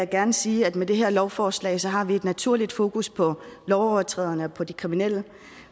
gerne sige at med det her lovforslag har vi et naturligt fokus på lovovertræderne og de kriminelle